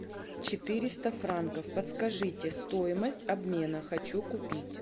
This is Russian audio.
четыреста франков подскажите стоимость обмена хочу купить